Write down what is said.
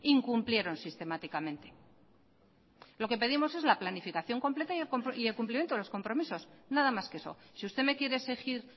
incumplieron sistemáticamente lo que pedimos es la planificación completa y el cumplimiento de los compromisos nada más que eso si usted me quiere exigir